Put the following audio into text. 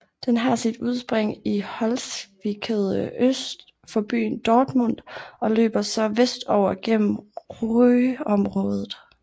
Den har sit udspring i Holzwickede øst for byen Dortmund og løber så vestover gennem Ruhrområdet